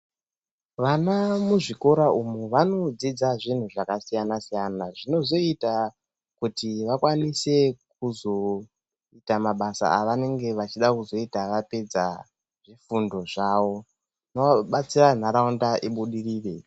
Vana muzvikora umu vanodzidza zvinhu zvakasiyana siyana zvinozoita kuti vakwanise kuzoita mabasa avanenge vachida kuzoita vapedza fundo zvavo wazobatsira nharaunda ibudirire